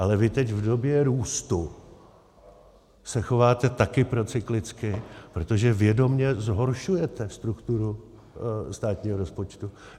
Ale vy teď v době růstu se chováte také procyklicky, protože vědomě zhoršujete strukturu státního rozpočtu.